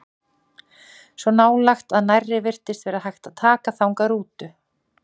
Svo nálægt að nærri virtist vera hægt að taka þangað rútu.